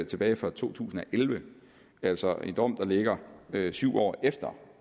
tilbage fra to tusind og elleve altså en dom der ligger syv år efter